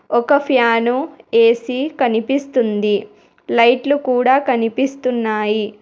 ఒక fan AC కనిపిస్తుంది లైట్లు కూడా కనిపిస్తున్నాయి.